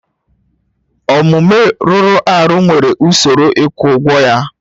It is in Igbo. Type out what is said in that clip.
Omume rụrụ arụ nwere usoro ịkwụ ụgwọ ya